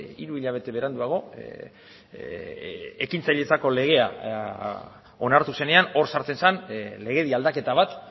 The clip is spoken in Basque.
hiru hilabete beranduago ekintzailetzako legea onartu zenean hor sartzen zen legedi aldaketa bat